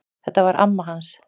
Þetta var amma hans